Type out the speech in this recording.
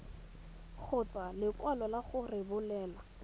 kgotsa lekwalo la go rebolelwa